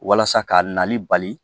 Walasa ka nali bali